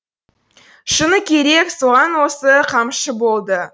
шыны керек соған осы қамшы болды